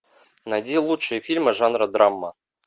найди лучшие фильмы жанра драма